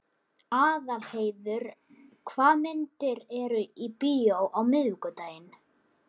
Aðalheiður, hvaða myndir eru í bíó á miðvikudaginn?